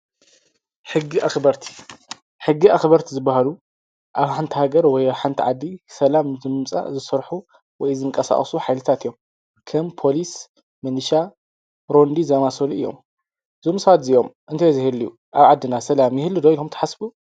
ሕጊኣኽበርቲ፡- ሕጊ ኣኽበርቲ ዝበሃሉ ኣብ ሓንቲ ሃገር ወይ ሓንቲ ዓዲ ሰላም ዘምፀኦ ዝሰርሑ ወይ ዝንቀሳቀሱ ሓይልታት እዮም፡፡ ከም ፖሊስ ምልሻ ሮንዲ ዝመሳሰሉ እዮም፡፡ ዞም ሰባት እዚዮም እንተዘይህልዩ ኣብ ዓድና ሰላም ይህሉ ዶ ኢሎኹም ትሓስቡ?